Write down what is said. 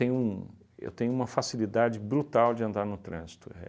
um eu tenho uma facilidade brutal de andar no trânsito. É